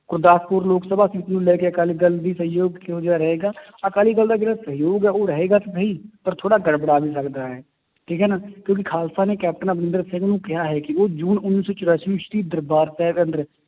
Gurdaspur Lok Sabha seat ਨੂੰ ਲੈ ਕੇ ਅਕਾਲੀ ਦਲ ਦੀ ਸਹਿਯੋਗ ਕਿਹੋ ਜਿਹਾ ਰਹੇਗਾ ਅਕਾਲੀ ਦਲ ਦਾ ਜਿਹੜਾ ਸਹਿਯੋਗ ਹੈ ਉਹ ਰਹੇਗਾ ਕਿ ਨਹੀਂ ਪਰ ਥੋੜ੍ਹਾ ਗੜਬੜਾ ਵੀ ਸਕਦਾ ਹੈ, ਠੀਕ ਹੈ ਨਾ ਕਿਉਂਕਿ ਖਾਲਸਾ ਨੇ ਕੈਪਟਨ ਅਮਰਿੰਦਰ ਸਿੰਘ ਨੂੰ ਕਿਹਾ ਹੈ ਕਿ ਉਹ ਜੂਨ ਉੱਨੀ ਸੌ ਚੁਰਾਸੀ ਵਿੱਚ ਦਰਬਾਰ ਸਾਹਿਬ